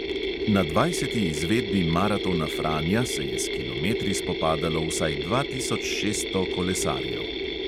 Na dvajseti izvedbi maratona franja se je s kilometri spopadalo vsaj dva tisoč šeststo kolesarjev.